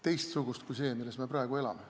Teistsugust kui see, milles me praegu elame.